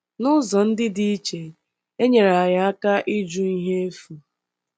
N’ụzọ ndị dị iche, e nyere anyị aka ịjụ ihe efu.